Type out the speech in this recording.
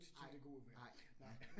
Nej, nej, nej